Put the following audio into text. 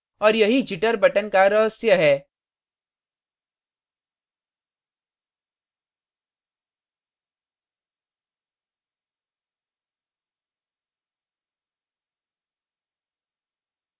और यही jitter button का रहस्य है